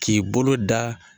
K'i bolo da